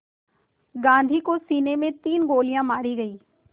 गांधी को सीने में तीन गोलियां मारी गईं